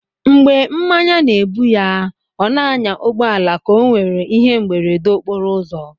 Mgbè mmánya na-ébú ya, ó n'ànyà ụgbọala ka ọ nwéré íhé mberede okporo ụzọ